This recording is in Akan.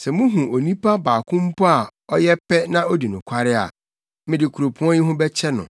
Sɛ muhu onipa baako mpo a ɔyɛ pɛ na odi nokware a, mede kuropɔn yi ho bɛkyɛ no.